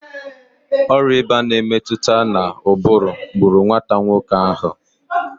Ọrịạ ịba nke na-emetụta n'ụbụrụ gburu nwata nwoke ahụ